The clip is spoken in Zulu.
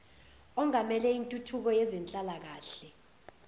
ongamele intuthuko yezenhlalakahle